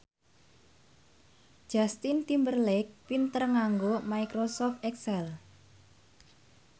Justin Timberlake pinter nganggo microsoft excel